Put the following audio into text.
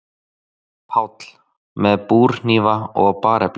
PÁLL: Með búrhnífa og barefli.